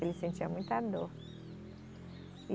Ele sentia muita dor.